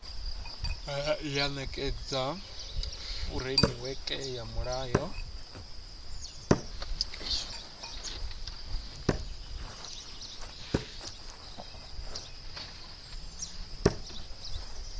ya nekedza furemiweke ya mulayo